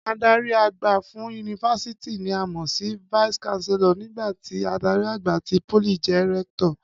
Adarí àgbà fún yunifásítì ni a mọ̀ sí vice chancellor nígbà tí adarí àgbà ti pólì jẹ́ rector